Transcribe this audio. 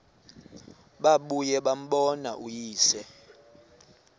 babuye bambone uyise